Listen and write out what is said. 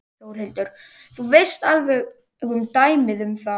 Þórhildur: Þú veist alveg um dæmi um það?